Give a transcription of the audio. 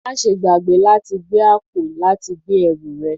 Máa ṣe gbàgbé láti gbé àpò láti gbé ẹrù rẹ